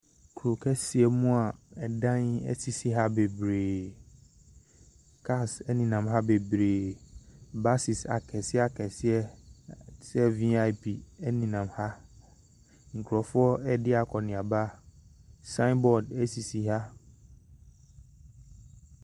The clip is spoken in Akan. Kuro kɛseɛ mu a ɛdan sisi ha bebree. Cars nenam ha bebree. Buses akɛseɛ akɛseɛ te sɛ VIP nenam ha. Nkurɔfoɔ redi akɔnneaba. Sign board sisi ha.